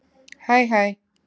Hæ hæ.